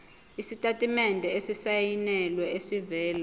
isitatimende esisayinelwe esivela